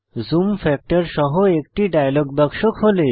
zoom factor সহ একটি dialog বাক্স খোলে